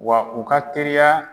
Wa u ka teriya